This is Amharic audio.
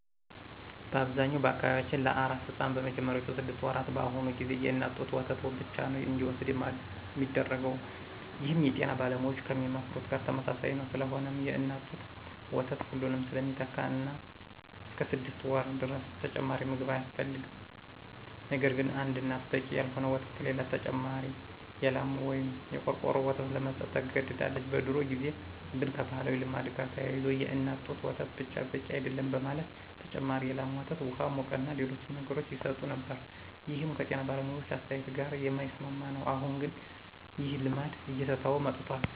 በአብዛኛው በአካባቢያችን ለአራስ ሕፃን በመጀመሪያዎቹ ስድስት ወራት በአሁኑ ጊዜ የእናት ጡት ወተት ብቻ ነዉ እንዲወስድ ሚደረገው ይህም የጤና ባለሙያዎች ከሚመክሩት ጋር ተመሳሳይ ነዉ። ስለሆነም የእናት ጡት ወተት ሁሉንም ስለሚተካ እስከ ስድስት ወር ድረስ ተጨማሪ ምግብ አያስፈልግም። ነገርግን አንድ እናት በቂ ያልሆነ ወተት ከሌላት ተጨማሪ የላም ወይም የቆርቆሮ ወተት ለመስጠት ትገደዳለች። በድሮ ጊዜ ግን ከባህላዊ ልማድ ጋር ተያይዞ የእናት ጡት ወተት ብቻ በቂ አይደለም በማለት ተጨማሪ የላም ወተት፣ ውሃ፣ ሙቅና ሌሎችንም ነገሮች ይሰጡ ነበር ይህም ከጤና ባለሙያዎች አስተያየት ጋር የማይስማማ ነው። አሁን ግን ይህ ልማድ እየተተወ መጥቷል።